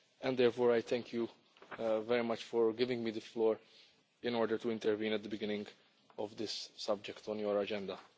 Therefore I thank you very much for giving me the floor in order to intervene at the beginning of this item on your agenda.